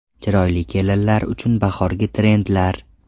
Chiroyli kelinlar uchun bahorgi trendlar.